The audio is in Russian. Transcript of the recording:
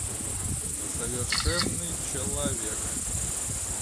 совершенный человек